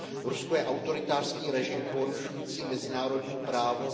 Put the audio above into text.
Rusko je autoritářský režim porušující mezinárodní právo.